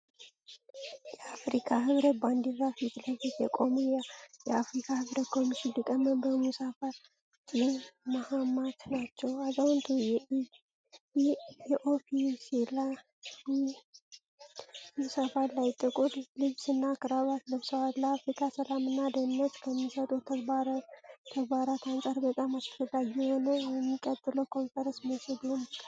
የአፍሪካ ህብረት ባንዲራ ፊት ለፊት የቆሙት የአፍሪካ ህብረት ኮሚሽን ሊቀመንበር ሙሳ ፋቂ ማሃማት ናቸው። አዛውንቱ በኦፊሴላዊ ስብሰባ ላይ ጥቁር ልብስና ክራባት ለብሰዋል። ለአፍሪካ ሰላምና ደህንነት ከሚሰጡት ተግባራት አንጻር በጣም አስፈላጊ የሆነው የሚቀጥለው ኮንፈረንስ መቼ ሊሆን ይችላል?